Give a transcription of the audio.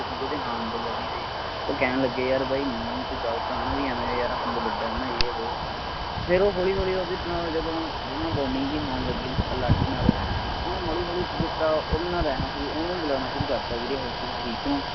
ਸੀਗੇ ਹਾਣ ਦੇ ਲਵੀ ਦੇ ਉਹ ਕਹਿਣ ਲੱਗੇ ਯਾਰ ਬਾਈ ਨੀਤ ਗਲਤ ਹੈ ਨਾ ਵੀ ਐਵੈਂ ਯਾਰ ਇਹ ਆਪਣੇ ਤੋਂ ਵੱਢਾ ਹੈ ਨਾ ਏ ਵੋ। ਫੇਰ ਉਹ ਹੋਲੀ ਹੋਲੀ ਓਹਦੇ ਨਾਲ ਜਦੋਂ bonding ਜੀ ਹੋਣ ਲੱਗੀ ਲਾਡੀ ਨਾਲ ਓਹਨੇ ਹੋਲੀ ਹੋਲੀ ਕੀ ਕੀਤਾ ਓਹਦੇ ਨਾਲ ਰਹਿਣਾ ਸ਼ੁਰੂ ਓਹਨੂੰ ਬੁਲਾਉਣਾ ਸ਼ੁਰੂ ਕਰਤਾ, ਵੀਰੇ ਹੋਰ ਤੁਸੀਂ ਠੀਕ ਹੋ।